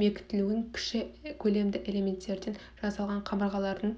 бекітілуін кіші көлемді элементтерден жасалған қабырғалардың